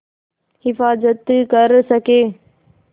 हिफ़ाज़त कर सकें